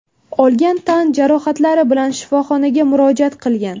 olgan tan jarohatlari bilan shifoxonaga murojaat qilgan.